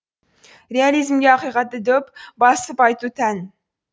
реализмге ақиқатты дөп басып айту тән